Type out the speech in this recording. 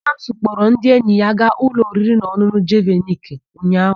Chikamso kpọrọ ndị enyi ya gaa ụlọ oririnaọn̄ụn̄ụ Jeviniki ụnyaahụ.